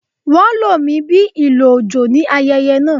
Wón lo mí bí ìlò ojo ní ayẹyẹ náà.